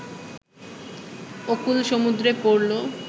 অকুল সমুদ্রে পড়ল